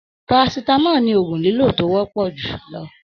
Parasitamọ ní ogún lilo to wọpọ julọ.